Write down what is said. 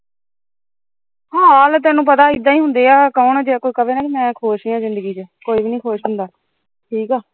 ਹਾਲ ਪਤਾ ਤੈਨੂੰ ਇੱਦਾ ਹੁੰਦੇ ਐ ਜੇ ਤੈਨੂੰ ਕੋਈ ਮੈਂ ਖੁਸ਼ ਐ ਜਿੰਦਗੀ ਚ ਕੋਈ ਵੀ ਨੀ ਖੁਸ਼ ਹੁੰਦਾ ਠੀਕੇ